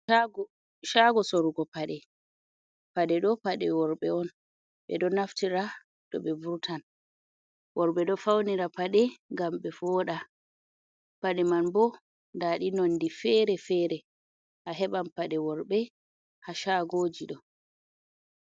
Shago, shago sorugo paɗe. paɗeɗo paɗe worɓe on ɓeɗo naftira to ɓe vurtan. worɓe ɗo faunira paɗe ngam ɓe voda. pade man ɓo nda ɗi nondi fere-fere a heban paɗe worbe ha shagoji ɗo.